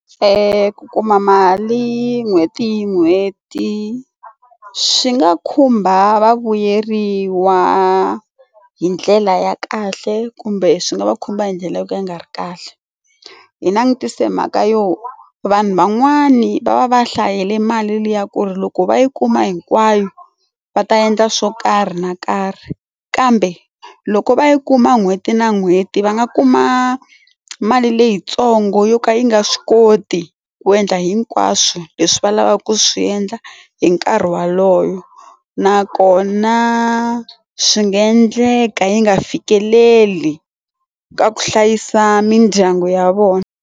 ku kuma mali n'hweti n'hweti swi nga khumba vavuyeriwa hi ndlela ya kahle kumbe swi nga va khumba hi ndlela yo ka yi nga ri kahle hi langutise mhaka yo vanhu van'wani va va va hlayisele mali liya ku ri loko va yi kuma hinkwayo va ta endla swo karhi na karhi kambe loko va yi kuma n'hweti na n'hweti va nga kuma mali leyitsongo yo ka yi nga swi koti ku endla hinkwaswo leswi va lavaka ku swi endla hi nkarhi walowo nakona swi nga endleka yi nga fikeleli ka ku hlayisa mindyangu ya vona.